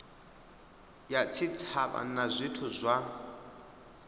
ya tshitshavha na zwithu zwa